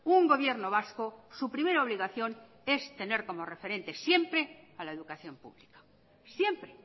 un gobierno vasco su primera obligación es tener como referente siempre a la educación pública siempre